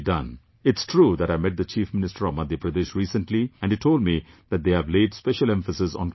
It's true that I met the Chief Minister of Madhya Pradesh recently and he told me that they have laid special emphasis on cleanliness